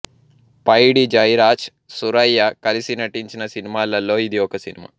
పైడి జైరాజ్ సురైయ కలిసి నటించిన సినిమాలలో ఇది ఒక సినిమా